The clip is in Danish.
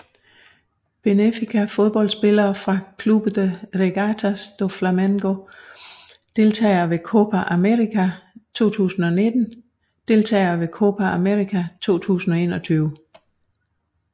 Benfica Fodboldspillere fra Clube de Regatas do Flamengo Deltagere ved Copa América 2019 Deltagere ved Copa América 2021